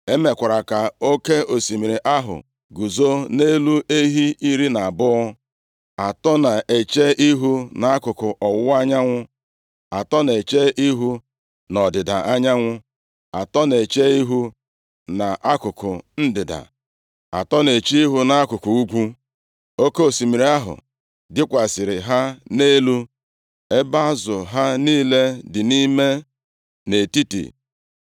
E mekwara ka Oke osimiri ahụ guzo nʼelu ehi iri na abụọ. Atọ na-eche ihu nʼakụkụ ọwụwa anyanwụ; atọ na-eche ihu nʼọdịda anyanwụ; atọ na-eche ihu nʼakụkụ ndịda, atọ na-eche ihu nʼakụkụ ugwu. Oke osimiri ahụ dịkwasịrị ha nʼelu, ebe azụ ha niile dị nʼime nʼetiti.